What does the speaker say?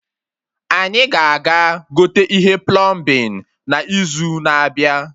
Anyị ga aga gote ihe plọmbin na izu na-abịa